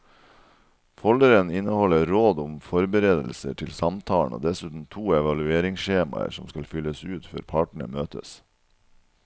Folderen inneholder råd om forberedelser til samtalen og dessuten to evalueringsskjemaer som skal fylles ut før partene møtes.